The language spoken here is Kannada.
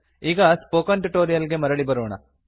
ಈಗ ಸ್ಪೋಕನ್ ಟ್ಯುಟೊರಿಯಲ್ ಗೆ ಮರಳಿ ಬರೋಣ